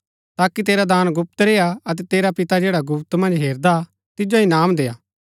ताकि तेरा दान गुप्त रेय्आ अतै तेरा पिता जैडा गुप्त मन्ज हेरदा तिजो इनाम देय्आ